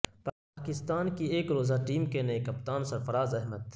پاکستان کی ایک روزہ ٹیم کے نئے کپتان سرفراز احمد